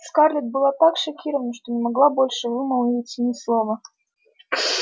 скарлетт была так шокирована что не могла больше вымолвить ни слова